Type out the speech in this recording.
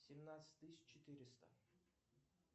семнадцать тысяч четыреста